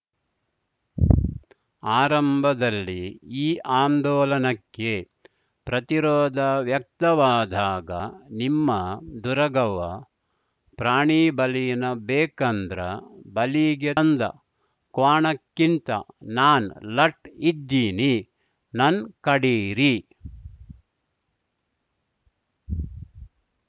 ಆರಂಭದಲ್ಲಿ ಈ ಆಂದೋಲನಕ್ಕೆ ಪ್ರತಿರೋಧ ವ್ಯಕ್ತವಾದಾಗ ನಿಮ್ಮ ದುರಗವ್ವ ಪ್ರಾಣಿಬಲಿನ ಬೇಕಂದ್ರ ಬಲಿಗೆ ತಂದ ಕ್ವಾಣಕ್ಕಿಂತ ನಾನ್‌ ಲಟ್‌ ಇದ್ದೀನಿ ನನ್‌ ಕಡೀರಿ